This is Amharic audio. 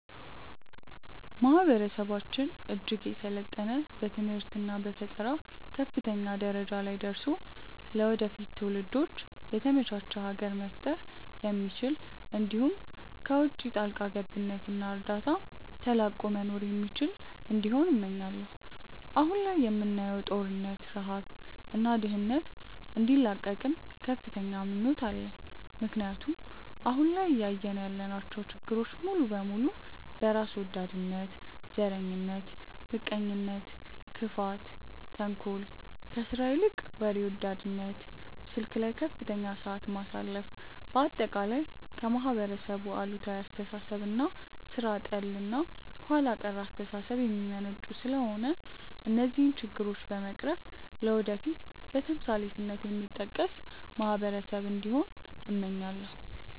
ማህበረሰባችን እጅግ የሰለጠነ በትምህርት እና በፈጠራ ከፍተኛ ደረጃ ላይ ደርሶ ለወደፊት ትውልዶች የተመቻች ሀገር መፍጠር የሚችል እንዲሁም ከውቺ ጣልቃ ገብነት እና እርዳታ ተላቆ መኖር የሚችል እንዲሆን እመኛለው። አሁን ላይ የምናየውን ጦርነት፣ ረሃብ እና ድህነት እንዲላቀቅም ከፍተኛ ምኞት አለኝ ምክንያቱም አሁን ላይ እያየን ያለናቸው ችግሮች ሙሉ በሙሉ በራስ ወዳድነት፣ ዘረኝነት፣ ምቀኝነት፣ ክፋት፣ ተንኮል፣ ከስራ ይልቅ ወሬ ወዳድነት፣ ስልክ ላይ ከፍተኛ ሰዓት ማሳለፍ፣ በአጠቃላይ ከማህበረሰብ አሉታዊ አስተሳሰብ እና ሥራ ጠል እና ኋላ ቀር አስተሳሰብ የሚመነጩ ስለሆነ እነዚህን ችግሮች በመቅረፍ ለወደፊት በተምሳሌትነት የሚጠቀስ ማህበረሰብ እንዲሆን እመኛለው።